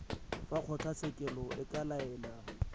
fa kgotlatshekelo e ka laela